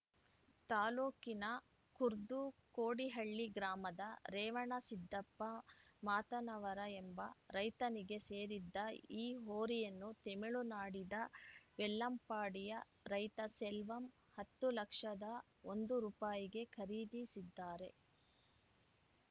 ತಾಲೂಕಿನ ಖುರ್ದುಕೋಡಿಹಳ್ಳಿ ಗ್ರಾಮದ ರೇವಣಸಿದ್ದಪ್ಪ ಮಾತನವರ ಎಂಬ ರೈತನಿಗೆ ಸೇರಿದ್ದ ಈ ಹೋರಿಯನ್ನು ತಮಿಳುನಾಡಿದ ವೆಲ್ಲಂಪಾಡಿಯ ರೈತ ಸೆಲ್ವಂ ಹತ್ತು ಲಕ್ಷದ ಒಂದು ರುಪಾಯಿಗೆ ಖರೀದಿಸಿದ್ದಾರೆ